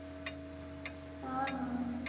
हा ना